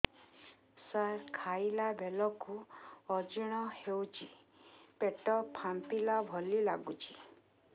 ସାର ଖାଇଲା ବେଳକୁ ଅଜିର୍ଣ ହେଉଛି ପେଟ ଫାମ୍ପିଲା ଭଳି ଲଗୁଛି